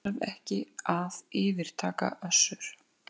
Þarf ekki að yfirtaka Össur